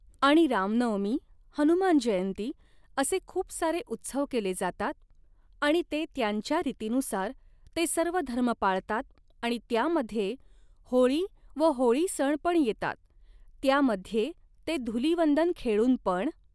आणि रामनवमी हनुमान जयंती असे खूप सारे उत्सव केले जातात आणि ते त्यांच्या रिती नुसार ते सर्व धर्म पाळतात आणि त्यामध्ये होळी व होळी सण पण येतात, त्यामध्ये ते धुलिवंदन खेळून पण